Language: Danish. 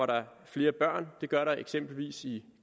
der flere børn det gør der eksempelvis i